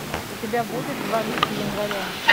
у тебя будет два лика января